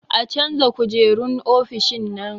A canza kujerun ofishin nan